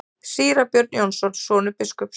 Síra Björn Jónsson, sonur biskups.